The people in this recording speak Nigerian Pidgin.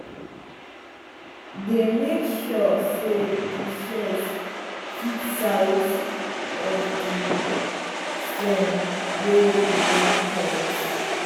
dey make sure say di shears fit di size of di stem wey you wan cut.